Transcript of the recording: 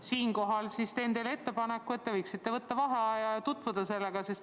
Siinkohal teen teile ettepaneku võtta vaheaeg ja asja arutada.